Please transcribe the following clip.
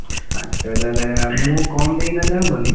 ପାଞ୍ଚହଜାର ଆଉ ମୁଁ କମ୍ ଦେଇକି ନେଲେ ହବନି?